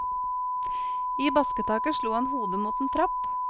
I basketaket slo han hodet mot en trapp.